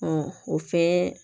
o fɛn